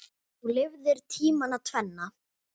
Þú lifðir tímana tvenna.